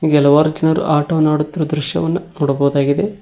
ಕೆಲವರ ಜನರು ಆಟವನ್ನು ಆಡುತ್ತಿರುವ ದೃಶ್ಯವನ್ನು ನೋಡಬಹುದಾಗಿದೆ.